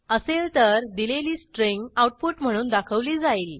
असेल तर दिलेली स्ट्रिंग आऊटपुट म्हणून दाखवली जाईल